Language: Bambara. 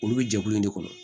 Olu bɛ jɛkulu in de kɔnɔ